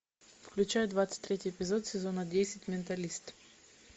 включай двадцать третий эпизод сезона десять менталист